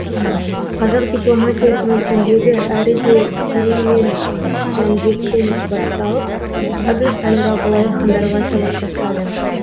қазақ дипломатиясының өзегі әріде керей мен жәнібектен басталып әбілқайыр абылай хандарға сабақтасады